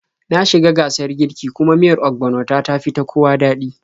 Na shi ga gasar kiirki, kuma miyar ogbono ta, tafi ta kowa daɗi